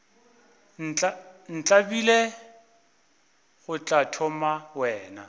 ntlabile go tla thoma wena